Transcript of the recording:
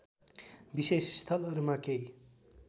विशेष स्थलहरूमा केही